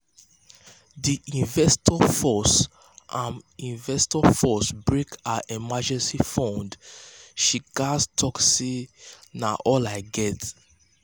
d investor force am investor force break her emergency fund she gats talk say "na all i get".